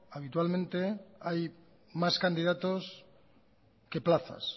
habitualmente hay más candidatos que plazas